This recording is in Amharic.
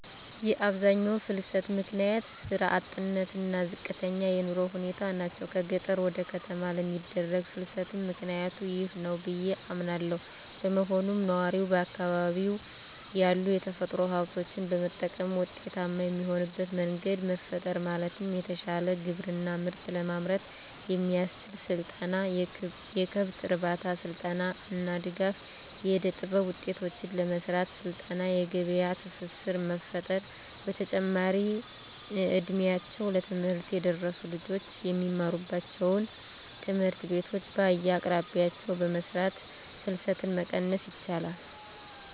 የአብዛኛው ፍልሰት ምክንያት ስራ አጥነት እና ዝቅተኛ የኑሮ ሁኔታ ናቸው። ከገጠር ወደ ከተማ ለሚደረግ ፍልስትም ምክኒያቱ ይህ ነው ብዬ አምናለው። በመሆኑም ነዋሪው በአካባቢው ያሉ የተፈጥሮ ሀብቶችን በመጠቀም ውጤታማ የሚሆንበት መንገድ መፍጠር ማለትም የተሻለ ግብርና ምርት ለማምረት የሚያስችል ስልጠና፣ የከብት እርባታ ስልጠና እና ድጋፍ. ፣ የእደጥበብ ውጤቶችን ለመሰራት ስልጠና የገበያ ትስስር መፍጠር። በተጨማሪም እ ድሜያቸው ለትምህርት የደረሱ ልጆች የሚማሩባቸውን ትምህርት ቤቶች በየአቅራቢያቸው በመስራት ፍልሰትን መቀነስ ይቻላል።